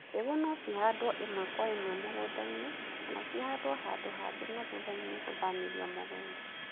Mbegũ no cihandwo ĩmwe kwa ĩmwe mũgũnda-inĩ kana cihandwo handũ hangĩ na thutha-inĩ gũthamĩrio mũgũnda.